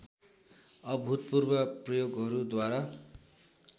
अभूतपूर्व प्रयोगहरू द्वारा